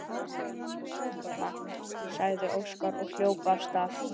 Við skulum koma, sagði Óskar og hljóp af stað.